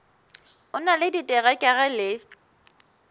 o na le diterekere le